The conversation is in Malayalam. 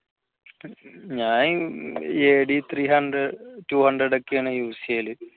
ഞാനീ AD3 hundred two hundred ഒക്കെയാണ് use ചെയ്യല്